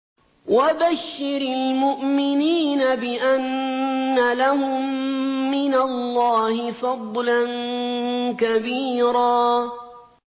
وَبَشِّرِ الْمُؤْمِنِينَ بِأَنَّ لَهُم مِّنَ اللَّهِ فَضْلًا كَبِيرًا